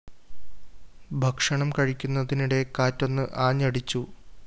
ഭക്ഷണം കഴിക്കുന്നതിനിടെ കാറ്റൊന്ന് ആഞ്ഞടിച്ചു